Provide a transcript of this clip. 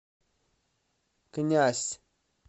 князь